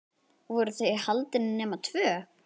Voru þau haldin nema tvö?